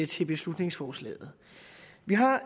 til beslutningsforslaget vi har